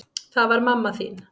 Það var mamma þín.